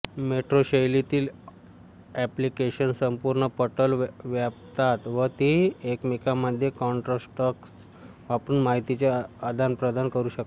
metro शैलीतील application संपूर्ण पटल व्यापतात व ती एकमेकांमध्ये कॉन्ट्रॅक्ट्स वापरून माहितीचे आदानप्रदान करू शकतात